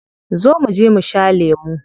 Zo muje mu sha lemu.